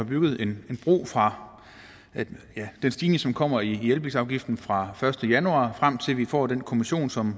bygget en bro fra den stigning som kommer i elbilsafgiften fra første januar frem til at vi får den kommission som